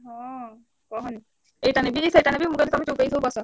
ହଁ କହନି ଏଇଟା ନେବି ସେଇଟା ନେବି ମୁଁ କହିଲି ତମେ ଚୁପ୍ ହେଇ ସବୁ ବସ।